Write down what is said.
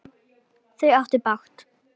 Þau áttu bágt!